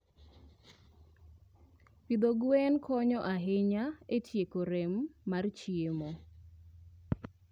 Pidho gwen konyo ahinya e tieko rem mar chiemo.